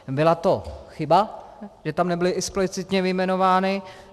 Byla to chyba, že tam nebyly explicitně vyjmenovány.